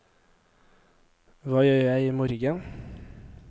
hva gjør jeg imorgen